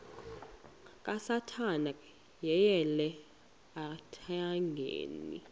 kasathana yeyele ethangeni